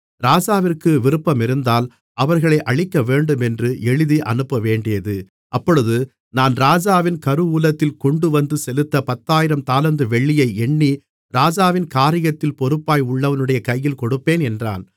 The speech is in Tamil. ராஜாவிற்கு விருப்பமிருந்தால் அவர்களை அழிக்கவேண்டுமென்று எழுதி அனுப்பவேண்டியது அப்பொழுது நான் ராஜாவின் கருவூலத்தில் கொண்டுவந்து செலுத்த பத்தாயிரம் தாலந்து வெள்ளியை எண்ணி ராஜாவின் காரியத்தில் பொறுப்பாய் உள்ளவனுடைய கையில் கொடுப்பேன் என்றான்